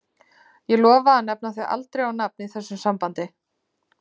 Ég lofa að nefna þig aldrei á nafn í þessu sambandi.